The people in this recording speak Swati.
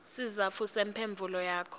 sizatfu semphendvulo yakho